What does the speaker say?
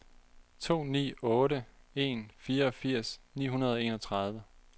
to ni otte en fireogfirs ni hundrede og enogtredive